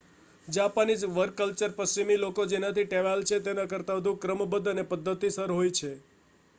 Japanese work culture પશ્ચિમી લોકો જેનાથી ટેવાયેલા છે તેના કરતા વધુ ક્રમબદ્ધ અને પદ્ધતિસર હોય છે